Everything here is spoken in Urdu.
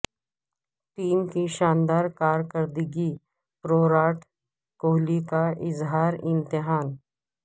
ٹیم کی شاندار کارکردگی پروراٹ کوہلی کا اظہار اطمینان